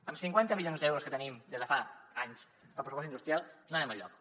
amb cinquanta milions d’euros que tenim des de fa anys per al pressupost industrial no anem enlloc